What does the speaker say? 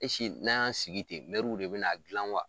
Esike n'an y'an sigi ten mɛruw de bena gilan wa